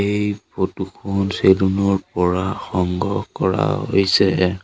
এই ফটো খন চেলুন পৰা সংগ্ৰহ কৰা হৈছে।